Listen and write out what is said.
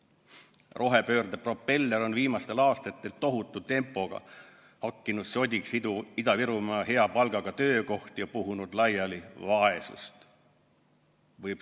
Rohepöörde propeller on viimastel aastatel tohutu tempoga hakkinud sodiks Ida-Virumaa hea palgaga töökohti ja puhunud laiali vaesust.